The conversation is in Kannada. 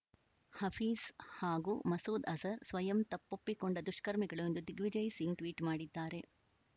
ಹಫೀಜ್‌ ಹಾಗೂ ಮಸೂದ್‌ ಅಜರ್‌ ಸ್ವಯಂ ತಪ್ಪೊಪ್ಪಿಕೊಂಡ ದುಷ್ಕರ್ಮಿಗಳು ಎಂದು ದಿಗ್ವಿಜಯ್‌ ಸಿಂಗ್‌ ಟ್ವೀಟ್‌ ಮಾಡಿದ್ದಾರೆ